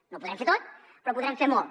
no ho podrem fer tot però podrem fer molt